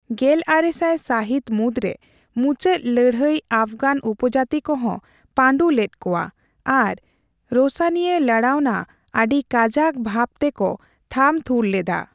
ᱜᱮᱞᱟᱨᱮᱥᱟᱭ ᱥᱟᱹᱦᱤᱛ ᱢᱩᱫᱽᱨᱮ ᱢᱩᱪᱟᱹᱫ ᱞᱟᱹᱲᱦᱟᱹᱭ ᱟᱯᱷᱜᱟᱱ ᱩᱯᱚᱡᱟᱹᱛᱤ ᱠᱚ ᱦᱚᱸ ᱯᱟᱸᱰᱩ ᱞᱮᱫ ᱠᱚᱣᱟ ᱟᱨ ᱨᱳᱥᱟᱱᱤᱭᱟ ᱞᱟᱲᱟᱣᱱᱟ ᱟᱰᱤ ᱠᱟᱡᱟᱠ ᱵᱷᱟᱵᱽᱛᱮ ᱠᱚ ᱛᱷᱟᱢ ᱛᱷᱩᱨ ᱞᱮᱫᱟ ᱾